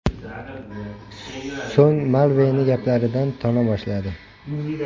So‘ng Malveni gaplaridan tona boshladi.